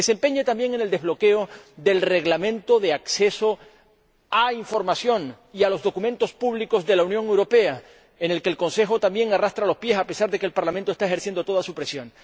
Que se empeñe también en el desbloqueo del Reglamento de acceso a la información y a los documentos públicos de la Unión Europea, en el que el Consejo también arrastra los pies a pesar de que el Parlamento está ejerciendo toda su presión.